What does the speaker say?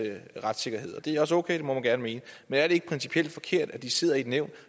retssikkerhed det er også okay det må man gerne mene men er det ikke principielt forkert at de sidder i et nævn